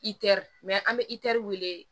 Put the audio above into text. Itɛri mɛ an bɛ itɛri wele